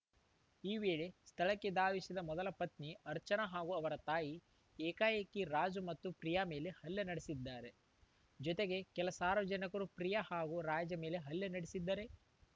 ಈ ವೇಳೆ ಸ್ಥಳಕ್ಕೆ ಧಾವಿಸಿದ ಮೊದಲ ಪತ್ನಿ ಅರ್ಚನಾ ಹಾಗೂ ಅವರ ತಾಯಿ ಏಕಾಏಕಿ ರಾಜು ಮತ್ತು ಪ್ರಿಯಾ ಮೇಲೆ ಹಲ್ಲೆ ನಡೆಸಿದ್ದಾರೆ ಜೊತೆಗೆ ಕೆಲ ಸಾರ್ವಜನಿಕರೂ ಪ್ರಿಯಾ ಹಾಗೂ ರಾಜು ಮೇಲೆ ಹಲ್ಲೆ ನಡೆಸಿದರೆ